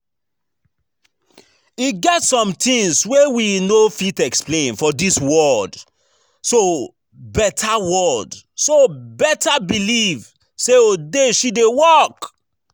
E get some things wey we no fit explain for dis world so better world so better believe say odeshi dey work